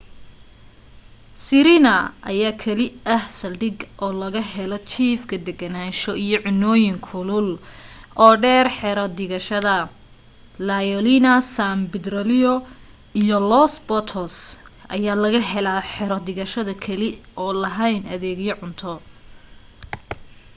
sirena ayaa keli ah saldhigga oo laga helo jiifka degenaansho iyo cunooyin kulul oo dheer xero dhigashada la leona san pedrillo iyo los patos ayaa laga helaa xero dhigashada keli oo lahayn adeega cunto